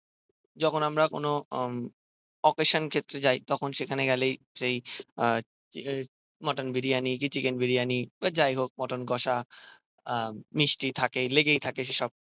যখন আমরা কোনো উম অকেশান ক্ষেত্রে যাই তখন সেখানে গেলেই সেই আহ মটন বিরিয়ানি কি চিকেন বিরিয়ানি বা যাই হোক মটন কষা আহ মিস্টি থাকে লেগেই থাকে সেইসব